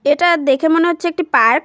এটা দেখে মনে হচ্ছে একটি পার্ক ।